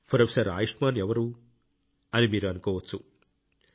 professor Ayushman ఎవరు అని మీరు అనుకోవచ్చు